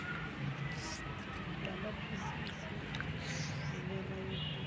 lamaphisisi enyama yenkukhu